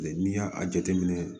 N'i y'a jateminɛ